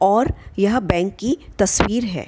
और यह बैंक की तस्वीर है।--